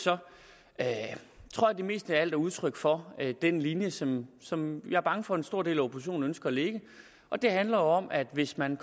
at det mest af alt er udtryk for den linje som som jeg er bange for at en stor del af oppositionen ønsker at lægge den handler om at hvis man